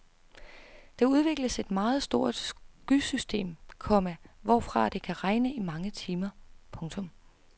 Der udvikles et meget stort skysystem, komma hvorfra det kan regne i mange timer. punktum